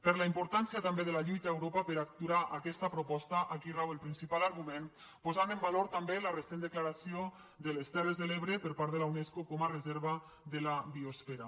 per la importància també de la lluita a europa per aturar aquesta proposta aquí rau el principal argument posant en valor també la recent declaració de les terres de l’ebre per part de la unesco com a reserva de la biosfera